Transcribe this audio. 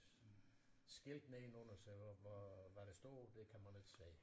Skilt nedenunder sig og hvad der står det kan man ikke se